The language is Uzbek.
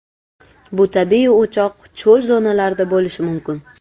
Bu tabiiy o‘choq cho‘l zonalarida bo‘lishi mumkin.